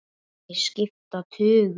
Þeir skipta tugum.